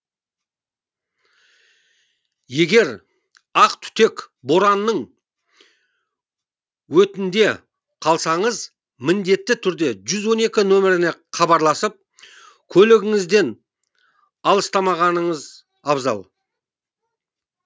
егер ақ түтек боранның өтінде қалсаңыз міндетті түрде жүз он екі нөміріне хабарласып көлігіңізден алыстамағаныңыз абзал